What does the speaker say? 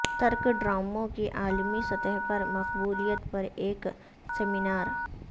ترک ڈراموں کی عالمی سطح پر مقبولیت پر ایک سیمینار